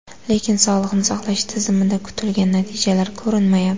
Lekin sog‘liqni saqlash tizimida kutilgan natijalar ko‘rinmayapti.